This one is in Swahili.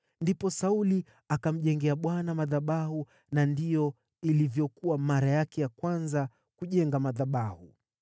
Ndipo Sauli akamjengea Bwana madhabahu, na ndiyo ilivyokuwa mara yake ya kwanza kujenga madhabahu.